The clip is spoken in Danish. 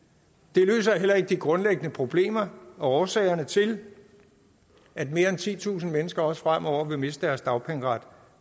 det løser heller ikke de grundlæggende problemer og årsagerne til at mere end titusind mennesker også fremover vil miste deres dagpengeret